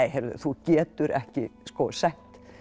þú getur ekki sett